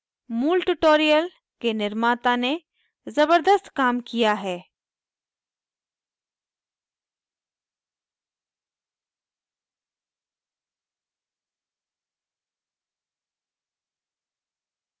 मूल tutorial के निर्माता ने ज़बरदस्त काम किया है